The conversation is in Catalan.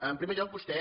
en primer lloc vostè